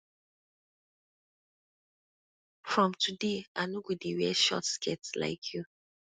from today i go dey wear short skirt like you